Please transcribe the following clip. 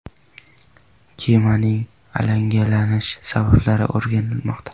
Kemaning alangalanish sabablari o‘rganilmoqda.